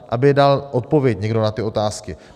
Aby dal odpověď někdo na ty otázky.